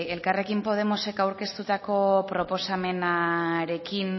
elkarrekin podemosek aurkeztutako proposamenarekin